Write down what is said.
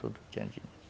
Tudo tinha dinheiro.